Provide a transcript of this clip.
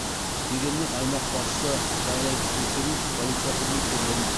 дегенмен аймақ басшысы жағдайды тексеру үшін полиция қызметкерлерін